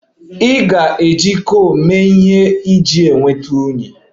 A ga-eji coal mee ihe iji nweta unyi